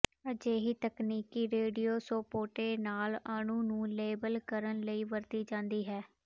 ਅਜਿਹੀ ਤਕਨੀਕ ਰੇਡੀਓਿਸੋਪੋਟੇ ਨਾਲ ਅਣੂ ਨੂੰ ਲੇਬਲ ਕਰਨ ਲਈ ਵਰਤੀ ਜਾਂਦੀ ਹੈ